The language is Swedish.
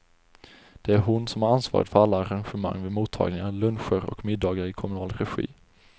Det är hon som har ansvaret för alla arrangemang vid mottagningar, luncher och middagar i kommunal regi.